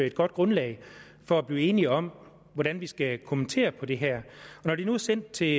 et godt grundlag for at blive enige om hvordan vi skal kommentere på det her og når det nu er sendt til